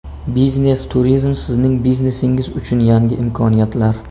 Biznes-turizm sizning biznesingiz uchun yangi imkoniyatlar.